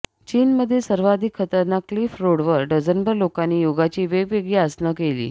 चीनमधील सर्वाधिक खतरनाक क्लिफ रोडवर डझनभर लोकांनी योगाची वेगवेगळी आसनं केली